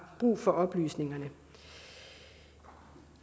brug for oplysningerne